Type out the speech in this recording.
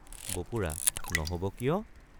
বপুৰা—নহব কিয়?